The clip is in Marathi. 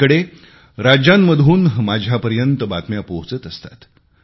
अलीकडे राज्यांमधून माझ्यापर्यंत बातम्या पोहोचत असतात